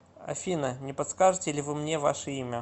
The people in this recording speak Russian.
афина не подскажете ли вы мне ваше имя